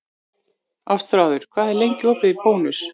Ástráður, hvað er lengi opið í Bónus?